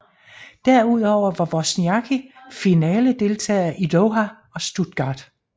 Derudover var Wozniacki finaledeltager i Doha og Stuttgart